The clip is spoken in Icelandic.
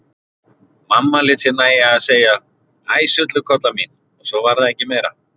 Mamma lét sér nægja að segja: Æ sullukolla mín og svo var það ekki meira.